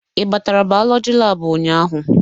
Ị batara bayolọjị laabu ụnyaahụ?